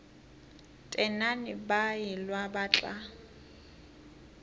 tenane ba elwa ba tla